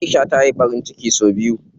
Aisha ta yi ɓarin ciki sau biyu.